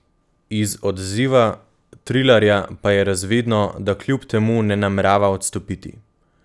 Iz odziva Trilarja pa je razvidno, da kljub temu ne namerava odstopiti.